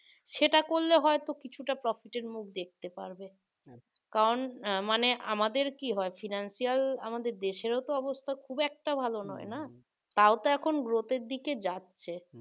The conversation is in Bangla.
সেটা করলে হয়তো কিছুটা profit এর মুখ দেখতে পারবে কারণ মানে আমাদের কি হয় financial আমাদের দেশেরও অবস্থা খুব একটা ভালো নয় না তাও তো এখন growth এর দিকে যাচ্ছে